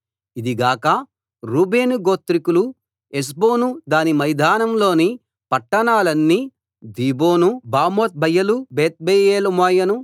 ఇది గాక రూబేను గోత్రికులు హెష్బోను దాని మైదానంలోని పట్టణాలన్నీ దీబోను బామోత్బయలు బేత్బయల్మెయోను